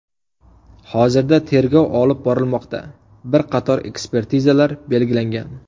Hozirda tergov olib borilmoqda, bir qator ekspertizalar belgilangan.